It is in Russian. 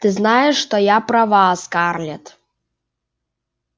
ты знаешь что я права скарлетт